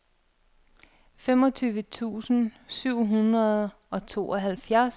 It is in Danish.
femogtyve tusind syv hundrede og tooghalvfjerds